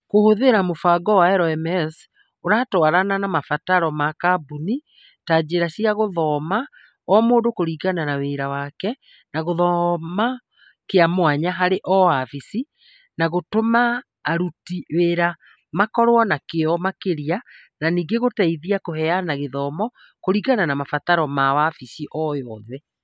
Kũhũthĩra mũbango wa LMS ũratwarana na mabataro ma kambuni, ta njĩra cia gũthoma o mũndũ kũringana na wĩra wake na gĩthomo kĩa mwanya harĩ o wabici, no gũtũme aruti wĩra makorũo na kĩyo makĩria, na ningĩ gũteithie kũheana gĩthomo kũringana na mabataro ma wabici o yothe.